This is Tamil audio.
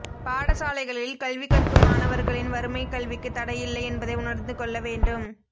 பாடசாலைகளில் கல்வி கற்கும் மாணவர்களின் வறுமை கல்விக்கு தடையில்லை என்பதை உணர்ந்து கொள்ள வேண்டும்